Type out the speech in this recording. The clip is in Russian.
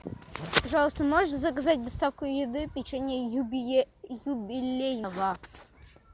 пожалуйста можешь заказать доставку еды печенья юбилейного